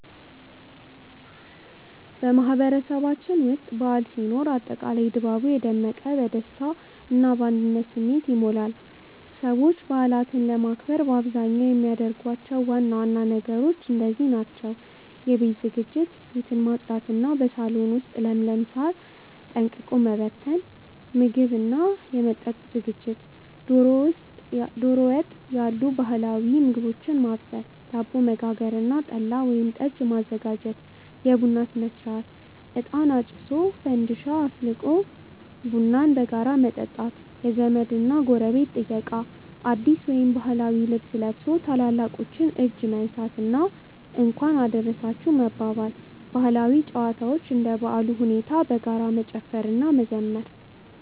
በማህበረሰባችን ውስጥ በዓል ሲኖር አጠቃላይ ድባቡ የደመቀ፣ በደስታ እና በአንድነት ስሜት ይሞላል። ሰዎች በዓላትን ለማክበር በአብዛኛው የሚያደርጓቸው ዋና ዋና ነገሮች እንደዚህ ናቸው፦ የቤት ዝግጅት፦ ቤትን ማጽዳት እና በሳሎን ውስጥ ለምለም ሳር ማቀነባበርና ጠንቀቀ መበተን። የምግብ እና መጠጥ ዝግጅት፦ ዶሮ ወጥ ያሉ ባህላዊ ምግቦችን ማብሰል፣ ዳቦ መጋገር እና ጠላ ወይም ጠጅ ማዘጋጀት። የቡና ሥነ-ሥርዓት፦ እጣን አጭሶ፣ ፋንዲሻ አፍልቆ ቡናን በጋራ መጠጣት። የዘመድ እና ጎረቤት ጥየቃ፦ አዲስ ወይም ባህላዊ ልብስ ለብሶ የታላላቆችን እጅ መንሳት እና "እንኳን አደረሳችሁ" መባባል። ባህላዊ ጨዋታዎች፦ እንደ በዓሉ ሁኔታ በጋራ መጨፈር እና መዘመር።